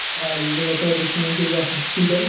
আর এইটা যতটা দেখে মনে হচ্ছে এইটা হস পিটাল ।